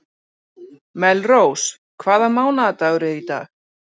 Melrós, hvaða mánaðardagur er í dag?